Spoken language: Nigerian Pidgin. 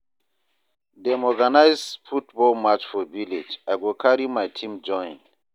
Dem organize football match for village, I go carry my team join.